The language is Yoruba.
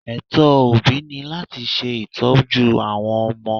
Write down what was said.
Ẹ̀tọ́ òbí ni láti ṣe ìtọ́jú àwọn ọmọ.